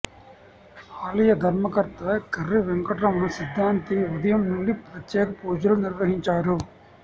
ఆలయ ధర్మకర్త కర్రి వెంకటరమణ సిద్ధాంతి ఉదయం నుండి ప్రత్యేక పూజలు నిర్వహించారు